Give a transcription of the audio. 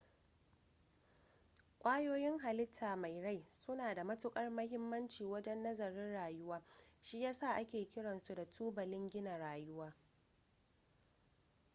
kwayoyin halitta mai rai suna da matukar mahimmanci wajen nazarin rayuwa shi ya sa ake kiransu da tubalin gina rayuwa